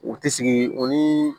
U tɛ sigi o ni